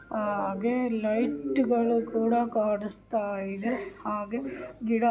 ಹಾಗೆ ಲೈಟ್ಗ ಳು ಕೂಡ ಕಾಣುಸ್ತ ಇದೆ ಹಾಗೆ ಗಿಡ --